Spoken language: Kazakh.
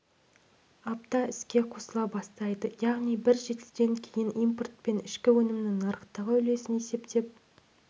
апта іске қосыла бастайды яғни бір жетіден кейін импорт пен ішкі өнімнің нарықтағы үлесін есептеп